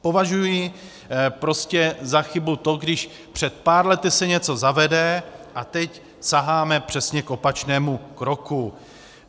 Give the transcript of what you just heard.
Považuji prostě za chybu to, když před pár lety se něco zavede, a teď saháme přesně k opačnému kroku.